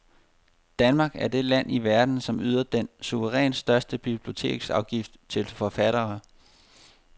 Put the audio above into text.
Danmark er det land i verden, som yder den suverænt største biblioteksafgift til forfattere.